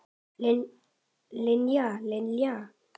Linja, Linja.